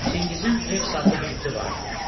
Çingizin Reks adlı bir iti vardı.